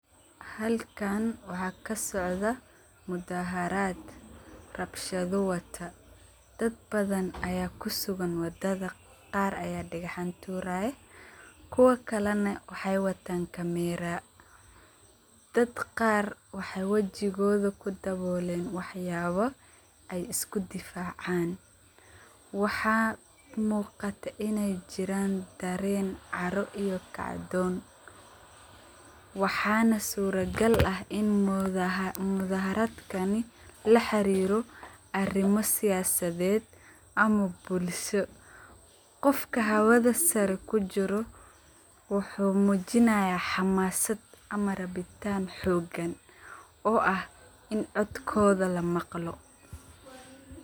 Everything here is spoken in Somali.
Halkan waxa kasocdah mudaharat, rabshado wata dad bathan Aya kusugan wadatha, Qaar Aya dexan turaya kuwalina waxaywatan camera dad Qaar waxa wajoktha kudawolan waxayaba ay isku difacan waxa muqata, inay jiran kacthen iyo kacthoon waxana suragal ah in muthaharatkani laxariroh, arima siyasathet amah bulsho Qoof hawatha sare kujiroh wuxu mujinaya xamasat amah rabshathat amah rabitaan xogan oo ah in coodkotha lamaqhaloh .